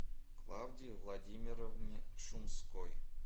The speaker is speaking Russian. клавдии владимировне шумской